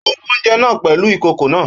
Ó rú oúnjẹ náà pẹ̀lú ìkòkò náà.